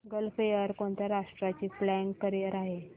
gulf Air कोणत्या राष्ट्राची flag carrier आहे